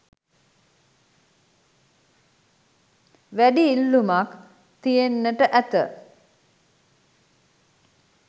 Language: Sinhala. වැඩි ඉල්ලුමක් තියෙන්ට ඇත